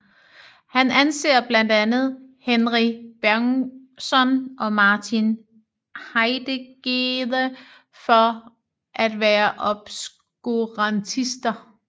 Han anser blandt andre Henri Bergson og Martin Heidegger for at være obskurantister